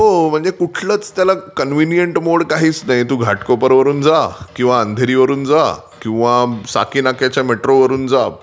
हो म्हणजे कुठलाच त्याला कन्व्हिनियंट मोड काहीच नाही. तू घाटकोपरवरून जा किंवा अंधेरीवरून जा. किंवा साकीनाक्याच्या मेट्रोवरून जा.